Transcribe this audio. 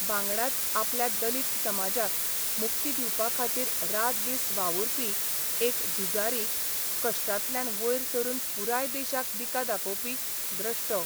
वांगडाच आपल्या दलीत समाजाक मुक्ती दिवपा खातीर रातदीस वावुरपी एक झुजारी कश्टांतल्यान वयर सरून पुराय देशाक दिका दाखोवपी द्रश्टो.